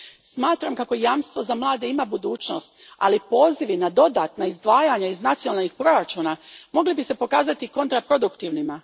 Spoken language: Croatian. Smatram kako Jamstvo za mlade ima budućnost, ali pozivi na dodatna izdvajanja iz nacionalnih proračuna mogli bi se pokazati kontraproduktivnima.